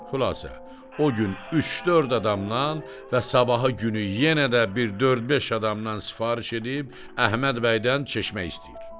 Xülasə, o gün üç-dörd adamdan və sabahı günü yenə də bir dörd-beş adamdan sifariş edib Əhməd bəydən çeşmə istəyir.